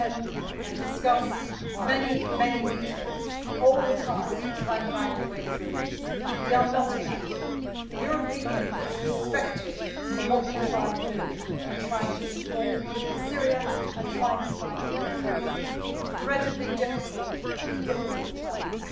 We attend and discuss many meetings all the time to try and find a way through this. We are not inactive. The European Union is respected for what we try to do in supporting the people of Syria and trying to find a way through this incredibly difficult challenge.